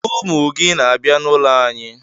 Ụmụ gị na-abịa n'ụlọ anyị.